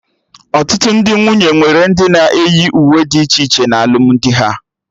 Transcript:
Ọtụtụ ndị nwunye nwere ndị na-eyi uwe dị iche iche na alụmdi ha